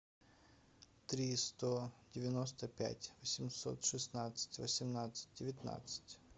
три сто девяносто пять восемьсот шестнадцать восемнадцать девятнадцать